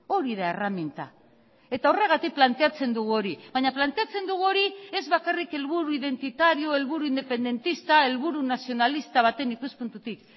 hori da erreminta eta horregatik planteatzen dugu hori baina planteatzen dugu hori ez bakarrik helburu identitario helburu independentista helburu nazionalista baten ikuspuntutik